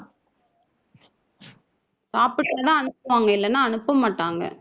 சாப்பிட்டா தான் அனுப்புவாங்க. இல்லைன்னா அனுப்பமாட்டாங்க.